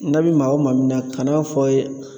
N'a bi maa o maa min na kan'a fɔ a ye